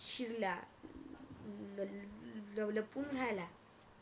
शिरला ल लपून राहील